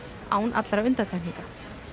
án undantekninga